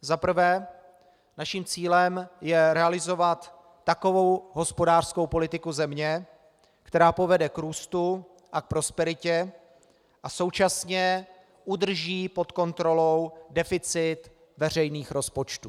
Za prvé, naším cílem je realizovat takovou hospodářskou politiku země, která povede k růstu a k prosperitě a současně udrží pod kontrolou deficit veřejných rozpočtů.